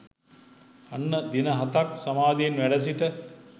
අන්න දින හතක් සමාධියෙන් වැඩසිට